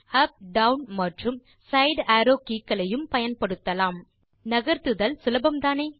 up down மற்றும் side arrow keys ஐயும் பயன்படுத்தலாம் நகர்த்துதல் சுலபம்தானே